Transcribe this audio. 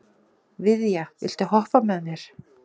Viðja, viltu hoppa með mér?